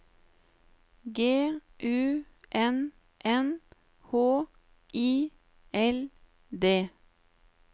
G U N N H I L D